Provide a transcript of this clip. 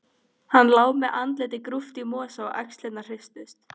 Hann lá með andlitið grúft í mosa og axlirnar hristust.